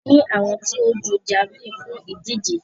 A ní àwọn tí ó ń jú javeline fún ìdíje.